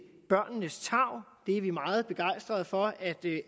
børnenes tarv vi er meget begejstrede for at det